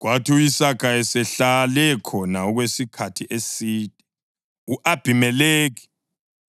Kwathi u-Isaka esehlale khona okwesikhathi eside, u-Abhimelekhi